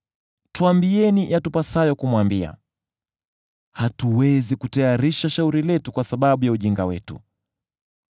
“Tuambieni yatupasayo kumwambia; hatuwezi kutayarisha shauri letu kwa sababu ya ujinga wetu.